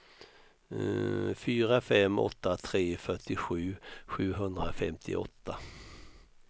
fyra fem åtta tre fyrtiosju sjuhundrafemtioåtta